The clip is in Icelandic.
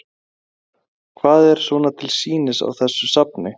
Helga: Hvað er svona til sýnis á þessu safni?